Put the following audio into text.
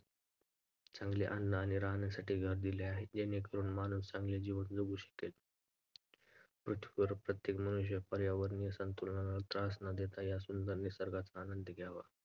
चांगले अन्न आणि राहण्यासाठी घर दिले आहे जेणेकरुन माणूस चांगले जीवन जगू शकेल. पृथ्वीवरील प्रत्येक मनुष्याने पर्यावरणीय संतुलनाला त्रास न देता या सुंदर निसर्गाचा आनंद घ्यावा.